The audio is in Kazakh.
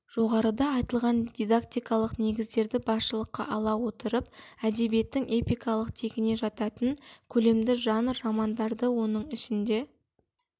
жоғарыда айтылған дидактикалық негіздерді басшылыққа ала отырып әдебиеттің эпикалық тегіне жататын көлемді жанр романдарды оның ішінде